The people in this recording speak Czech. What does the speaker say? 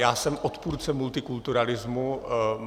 Já jsem odpůrcem multikulturalismu.